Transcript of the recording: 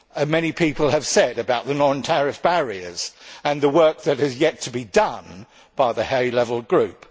Many people have commented about the non tariff barriers and the work that has yet to be done by the high level group.